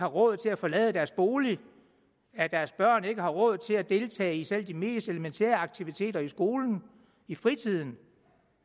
råd til at forlade deres bolig at deres børn ikke havde råd til at deltage i selv de mest elementære aktiviteter i skolen og i fritiden